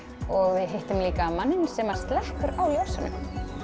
og við hittum líka manninn sem slekkur á ljósunum